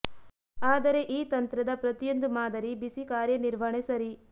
ಆದರೆ ಈ ತಂತ್ರದ ಪ್ರತಿಯೊಂದು ಮಾದರಿ ಬಿಸಿ ಕಾರ್ಯ ನಿರ್ವಹಣೆ ಸರಿ